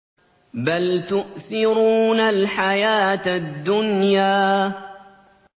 بَلْ تُؤْثِرُونَ الْحَيَاةَ الدُّنْيَا